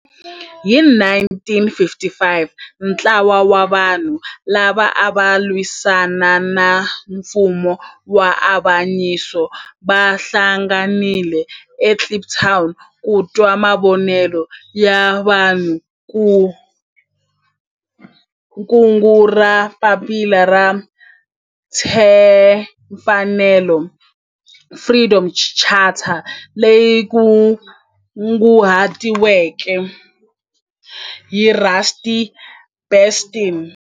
Hi 1955 ntlawa wa vanhu lava ava lwisana na nfumo wa avanyiso va hlanganile eKliptown ku twa mavonelo ya vanhu hi kungu ra Papila ra Tinfanelo, Freedom Charter leri kunguhatiweke hi Rusty Bernstein.